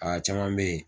Aa caman bɛ yen